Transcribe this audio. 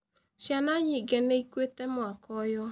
Ciana nyingĩ nĩ ĩkuĩte mwaka ũyũ.